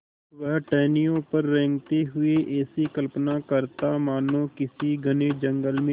वह टहनियों पर रेंगते हुए ऐसी कल्पना करता मानो किसी घने जंगल में